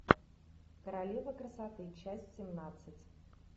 королева красоты часть семнадцать